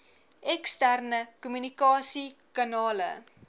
eksterne kommunikasie kanale